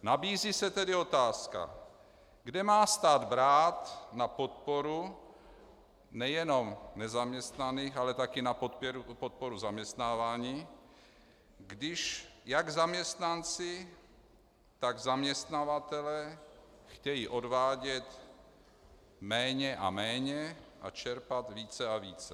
Nabízí se tedy otázka, kde má stát brát na podporu nejenom nezaměstnaných, ale také na podporu zaměstnávání, když jak zaměstnanci, tak zaměstnavatelé chtějí odvádět méně a méně a čerpat více a více.